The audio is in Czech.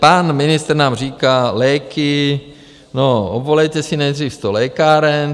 Pan ministr nám říká - léky, no obvolejte si nejdřív sto lékáren.